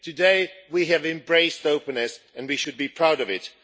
Today we have embraced openness and we should be proud of it.